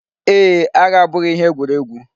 Ee, agha abụghị ihe egwuregwu.